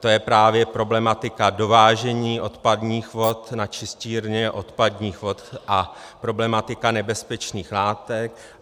To je právě problematika dovážení odpadních vod na čistírny odpadních vod a problematika nebezpečných látek.